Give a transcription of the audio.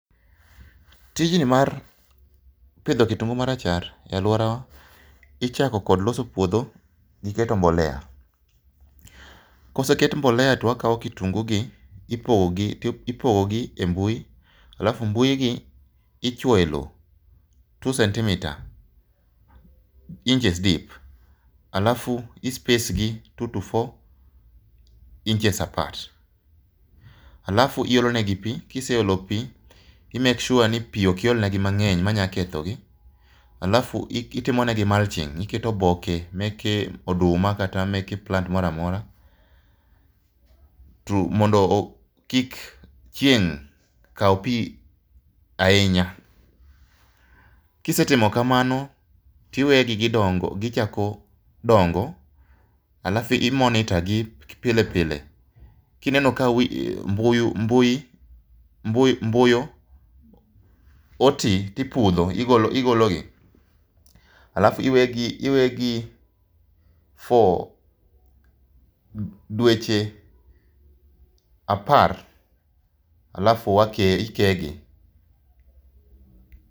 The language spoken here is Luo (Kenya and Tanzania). Tijni mar pidho kitungu marachar e aluowa i chako kod loso puodh gi keto mbolea koseket mbolea to wakawo kitungu gi ipogo gi e mbui alafu mbui gi ichwoyo e lowo 2cm inches deep alafu i space gi 2-4 inches apart alafu ilolo negi pii ka iseolo pii i make sure ni pii ok iol negi ma ngeny ma nyalo ketho gi alafu itimo ne gi mulching i keto oboke meke oduma kata meke plant moro a mora mondo kik chieng kaw pii ahinya kisetimo kamano to iwegi gi chako dongo alafu i monitor gi pile pile kineno ka mbui oti to ipudho, igolo gi alafu i wegi for dweche apar alafu i kee gi.